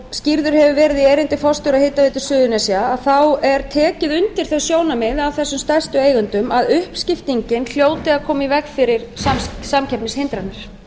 skýrður hefur verið í erindi forstjóra hitaveitu suðurnesja er tekið undir þau sjónarmið af þessum stærstu eigendum að uppskiptingin hljóti að koma í veg fyrir samkeppnishindranir